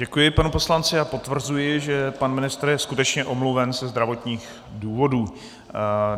Děkuji panu poslanci a potvrzuji, že pan ministr je skutečně omluven ze zdravotních důvodů.